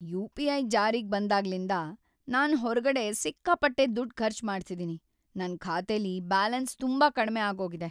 UPI. ಜಾರಿಗ್‌ ಬಂದಾಗ್ಲಿಂದ ನಾನ್ ಹೊರ್ಗಡೆ‌ ಸಿಕ್ಕಾಪಟ್ಟೆ ದುಡ್ಡ್‌ ಖರ್ಚ್‌ ಮಾಡ್ತಿದೀನಿ.. ನನ್‌ ಖಾತೆಲಿ ಬ್ಯಾಲೆನ್ಸ್ ತುಂಬಾ ಕಡ್ಮೆ ಆಗೋಗಿದೆ.